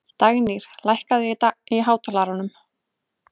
Dagnýr, lækkaðu í hátalaranum.